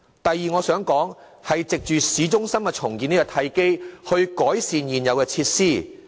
第二，當局善用市中心重建這個契機，改善現有設施。